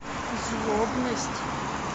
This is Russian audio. злобность